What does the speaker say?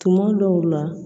Tuma dɔw la